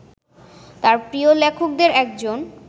তাঁর প্রিয় লেখকদের একজন